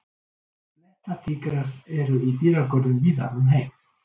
Blettatígrar eru í dýragörðum víða um heim.